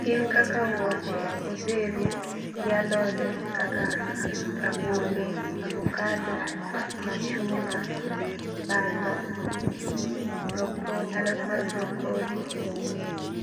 Gin kaka wuoche, odheru, gi alode kaka rabolo, avocado, machunga, bando, brocoli alot mar brocoli,